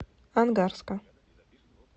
ангарска